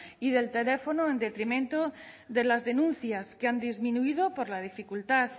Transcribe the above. y del teléfono en detrimento de las denuncias que han disminuido por la dificultad